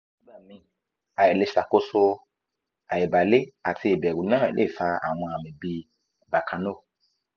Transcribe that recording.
nigba mi ailezakoso aibalv[ ati ibv[ru na le fa awxn ami bi bakano